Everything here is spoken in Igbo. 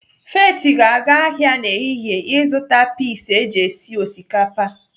Faith ga-aga ahịa n'ehihie ịzụta pis eji esi osikapa.